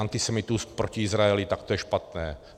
Antisemitismus proti Izraeli, tak to je špatné.